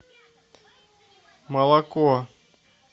молоко